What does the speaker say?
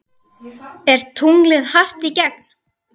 Er tunglið hart í gegn?